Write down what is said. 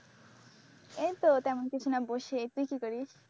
এইতো তেমন কিছু না বসে। তুই কি করিস?